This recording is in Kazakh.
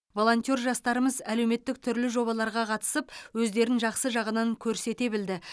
волонтер жастарымыз әлеуметтік түрлі жобаларға қатысып өздерін жақсы жағынан көрсете білді